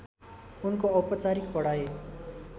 उनको औपचारिक पढाइ